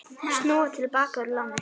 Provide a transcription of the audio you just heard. Snúa til baka úr láni